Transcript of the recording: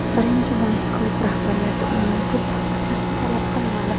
Birinchidan, klub rahbariyati undan ko‘p narsa talab qilmadi.